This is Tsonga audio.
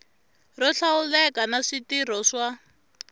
ro hlawuleka na switirho swa